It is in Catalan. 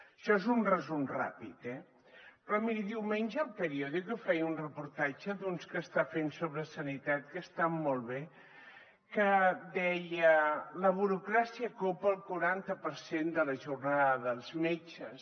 això és un resum ràpid eh però miri diumenge el periódico feia un reportatge d’uns que està fent sobre sanitat que estan molt bé que deia la burocràcia copa el quaranta per cent de la jornada dels metges